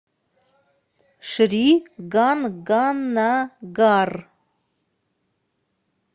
шри ганганагар